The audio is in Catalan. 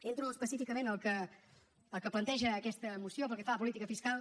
entro específicament al que planteja aquesta moció pel que fa a política fiscal